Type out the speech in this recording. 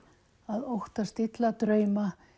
að óttast illa drauma